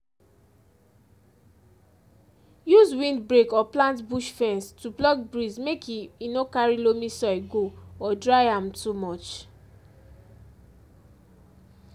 use windbreak or plant bush fence to block breeze make e e no carry loamy soil go or dry am too much